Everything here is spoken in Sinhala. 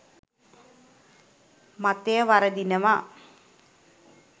මතය වරදිනවා.